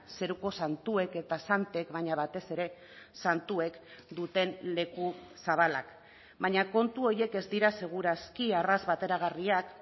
zeruko santuek eta santek baina batez ere santuek duten leku zabalak baina kontu horiek ez dira seguraski arras bateragarriak